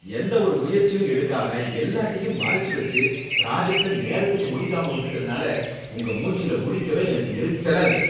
எந்த ஒரு முயற்சியும் எடுக்காம எல்லாத்தையும் மறைச்சு வச்சு ப்ராஜெக்ட நேரத்துக்கு முடிக்காம விட்டுடதுனால உங்க மூஞ்சியில முழிக்கவே எனக்கு எரிச்சலா இருக்கு.